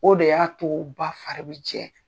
O de y'a to ba fari bɛ jɛ.